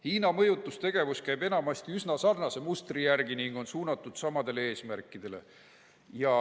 Hiina mõjutustegevus käib enamasti üsna sarnase mustri järgi ning on suunatud samadele eesmärkidele.